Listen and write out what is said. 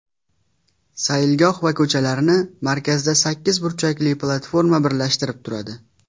Saylgoh va ko‘chalarni markazda sakkiz burchakli platforma birlashtirib turadi.